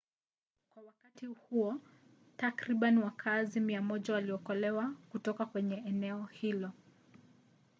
kwa wakati huo takriban wakaazi 100 waliokolewa kutoka kwenye eneo hilo